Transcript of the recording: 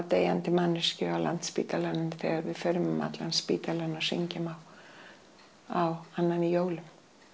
deyjandi manneskju á Landspítalanum þegar við förum um allan spítalann og syngjum á annan í jólum